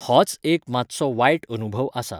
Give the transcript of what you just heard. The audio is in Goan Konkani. होच एक मातसो वायट अनुभव आसा.